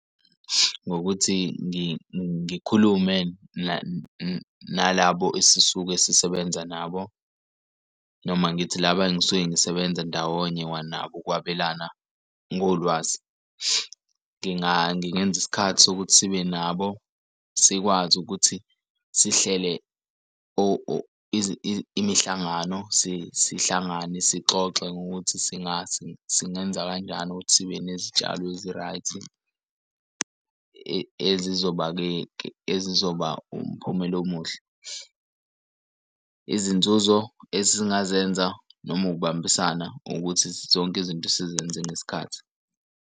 Ngokuthi ngikhulume nalabo esisuke sisebenza nabo noma angithi laba engisuke ngisebenza ndawonye nabo ukwabelana ngolwazi. Ngingenza isikhathi sokuthi sibe nabo sikwazi ukuthi sihlele imihlangano sihlangane sixoxe ngokuthi singase singenza kanjani ukuthi sibe nezitshalo ezi-right ezizoba-ke ezizoba umphumela omuhle. Izinzuzo esingazenza noma ukubambisana ukuthi zonke izinto sizenze ngesikhathi.